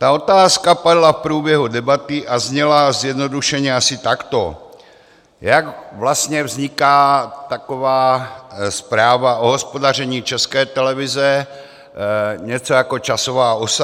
Ta otázka padla v průběhu debaty a zněla zjednodušeně asi takto: Jak vlastně vzniká taková zpráva o hospodaření České televize, něco jako časová osa?